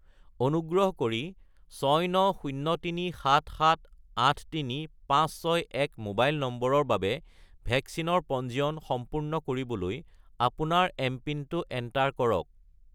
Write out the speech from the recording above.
অনুগ্ৰহ কৰি 69037783561 মোবাইল নম্বৰৰ বাবে ভেকচিনৰ পঞ্জীয়ন সম্পূৰ্ণ কৰিবলৈ আপোনাৰ এমপিনটো এণ্টাৰ কৰক